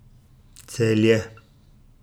Celje.